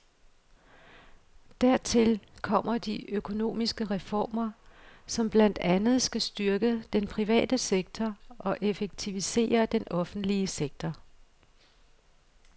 Dertil kommer de økonomiske reformer, som blandt andet skal styrke den private sektor og effektivisere den offentlige sektor.